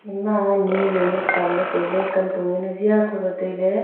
ema ni jaonu tan le tai le kantong jaonu zia thodi le tai le.